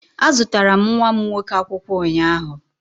Azụtara m nwa m nwoke akwụkwọ ụnyaahụ.